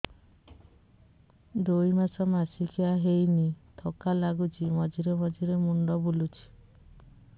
ଦୁଇ ମାସ ମାସିକିଆ ହେଇନି ଥକା ଲାଗୁଚି ମଝିରେ ମଝିରେ ମୁଣ୍ଡ ବୁଲୁଛି